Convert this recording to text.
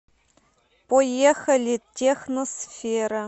поехали техносфера